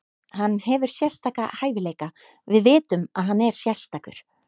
Hann hefur sérstaka hæfileika, við vitum að hann er sérstakur.